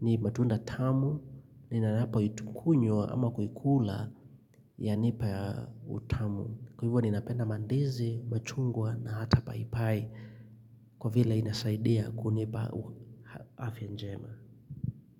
Ni matunda tamu. Ninanapo itukunywa ama kukula yanipa utamu. Kwa hivyo ninapenda mandizi, machungwa na hata paipai. Kwa vile inasaidia kunipa afya njema.